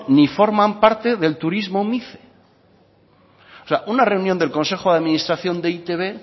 ni forman parte del turismo mice o sea una reunión del consejo de administración de e i te be